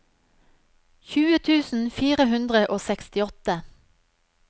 tjue tusen fire hundre og sekstiåtte